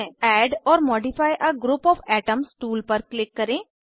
add or modify a group of atoms tool पर click करें